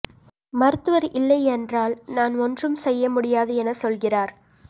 மருத்துவா் இல்லையென்றால் நான் ஒன்றும் செய்ய முடியாது எனச் சொல்கிறாா்